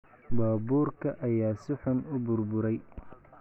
Baabuurka ayaa si xun u burburay.